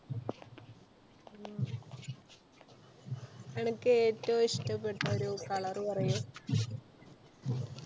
അനക്ക് ഏറ്റവും ഇഷ്ടപെട്ട ഒരു color പറയു?